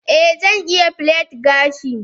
a, Zan iya plait gashi.